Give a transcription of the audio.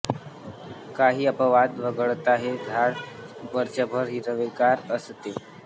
काही अपवाद वगळता हे झाड वर्षभर हिरवेगार असते